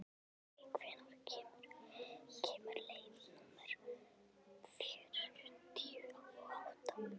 Bergey, hvenær kemur leið númer fjörutíu og átta?